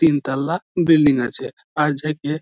তিনতাল্লা building আছে । আর যে কে --